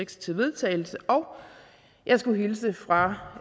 til vedtagelse og jeg skulle hilse fra